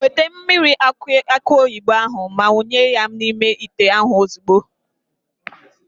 Weta mmiri akụ oyibo ahụ ma wụnye ya n'ime ite ahụ ozugbo.